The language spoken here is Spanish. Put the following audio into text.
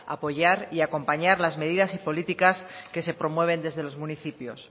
apoyar y acompañar las medidas y políticas que se promueven desde los municipios